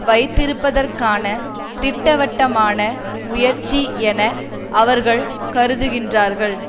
வைத்திருப்பதற்கான திட்டவட்டமான முயற்சி என அவர்கள் கருதுகின்றார்கள்